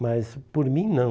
Mas, por mim, não.